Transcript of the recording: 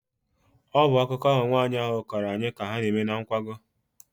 Ọ bụ akụkọ ahụ nwaanyị ahụ kọrọ anyị ka ha na-eme na nkwago.